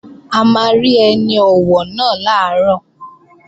A máa rí ẹni ọ̀wọ̀ náà làárọ̀